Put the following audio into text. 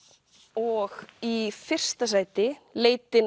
og í fyrsta sæti leitin